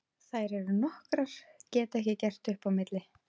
Þær eru nokkrar, get ekki gert upp á milli.